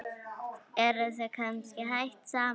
Eruð þið kannski hætt saman?